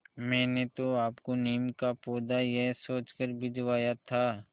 मैंने तो आपको नीम का पौधा यह सोचकर भिजवाया था